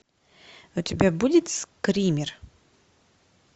у тебя будет скример